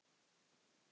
Núna, já.